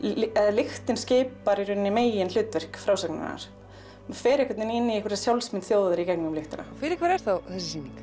lyktin skipar meginhlutverk frásagnarinnar hún fer inn í sjálfsmynd þjóðar í gegnum lyktina fyrir hvern er þessi sýning